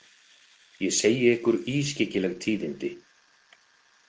Ég segi ykkur ískyggileg tíðindi.